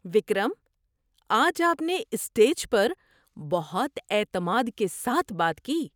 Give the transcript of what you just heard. وکرم! آج آپ نے اسٹیج پر بہت اعتماد کے ساتھ بات کی!